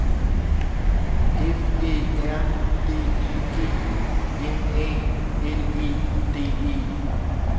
F Æ R D I G M A L E D E